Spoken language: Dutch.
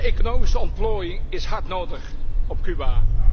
Economische ontplooiing is hard nodig op Cuba.